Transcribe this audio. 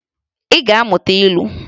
Ị ga-amụta ilu!